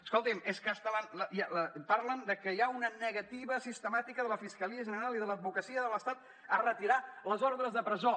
escoltin és que fins parlen que hi ha una negativa sistemàtica de la fiscalia general i de l’advocacia de l’estat a retirar les ordres de presó